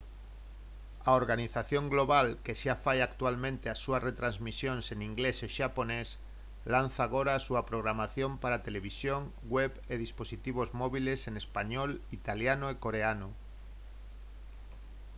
a organización global que xa fai actualmente as súas retransmisións en inglés e xaponés lanza agora a súa programación para televisión web e dispositivos móbiles en español italiano e coreano